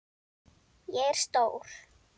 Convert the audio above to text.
Ég er stór.